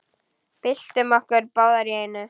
Byltum okkur báðar í einu.